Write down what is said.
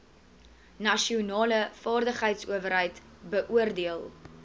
nasionale vaardigheidsowerheid beoordeel